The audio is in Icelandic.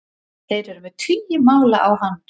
Þeir eru með tugi mála á hann